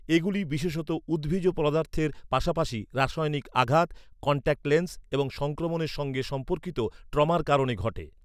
এগুলি বিশেষত উদ্ভিজ পদার্থের পাশাপাশি রাসায়নিক আঘাত, কন্ট্যাক্ট লেন্স এবং সংক্রমণের সঙ্গে সম্পর্কিত ট্রমার কারণে ঘটে।